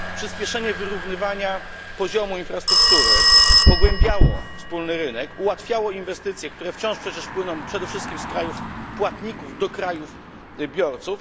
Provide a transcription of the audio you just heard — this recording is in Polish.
Przyspieszenie wyrównywania poziomu infrastruktury pogłębiało wspólny rynek, ułatwiało inwestycje, które wciąż przecież płyną przede wszystkim z krajów płatników do krajów biorców.